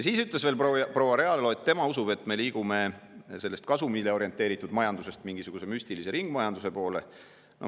Veel ütles proua Realo, et tema usub, et me liigume kasumile orienteeritud majandusest mingisuguse müstilise ringmajanduse poole.